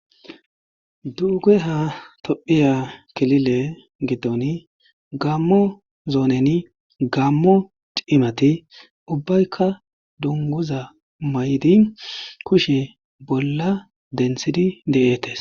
Dugeha tophiya kilile gidon gaamo zooneni gaamo cimati ubaykka dunguza mayidi kushe bolla denthidi de'etees.